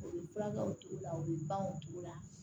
U bɛ furakɛw t'u la u bɛ ban u t'u la